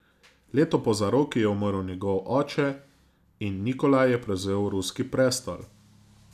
Leto po zaroki je umrl njegov oče in Nikolaj je prevzel ruski prestol.